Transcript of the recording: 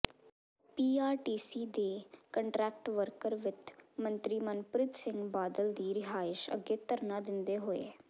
PRTC ਦੇ contract worker ਵਿੱਤ ਮੰਤਰੀ ਮਨਪ੍ਰੀਤ ਸਿੰਘ ਬਾਦਲ ਦੀ ਰਿਹਾਇਸ਼ ਅੱਗੇ ਧਰਨਾ ਦਿੰਦੇ ਹੋਏ